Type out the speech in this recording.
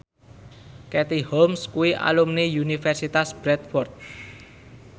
Katie Holmes kuwi alumni Universitas Bradford